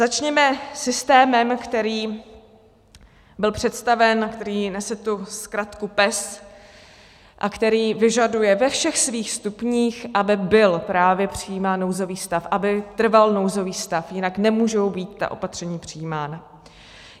Začněme systémem, který byl představen, který nese tu zkratku PES a který vyžaduje ve všech svých stupních, aby byl právě přijímán nouzový stav, aby trval nouzový stav, jinak nemůžou být ta opatření přijímána.